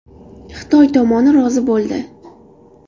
Xitoy tomoni rozi bo‘ldi.